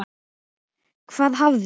Hvað hafði